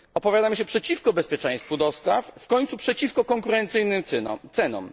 Opowiadamy się przeciwko bezpieczeństwu dostaw, w końcu przeciwko konkurencyjnym cenom.